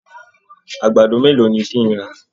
Àgbàdo mélòó ni kí n rà?